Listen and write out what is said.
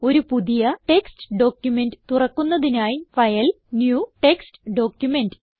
ഒരു പുതിയ text document തുറക്കുന്നതിനായി ഫൈൽ ന്യൂ ടെക്സ്റ്റ് ഡോക്യുമെന്റ്